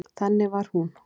Þannig var hún.